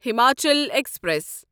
Himachal express